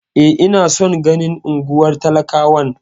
E, ina son ganin unguwar talakawan.